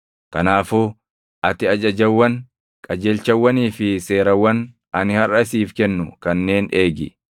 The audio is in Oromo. Kanaafuu ati ajajawwan, qajeelchawwanii fi seerawwan ani harʼa siif kennu kanneen eegi.